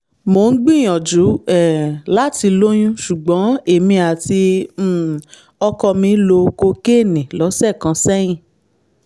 mo ń gbìyànjú um láti lóyún ṣùgbọ́n èmi àti um ọkọ mi lo kokéènì lọ́sẹ̀ kan sẹ́yìn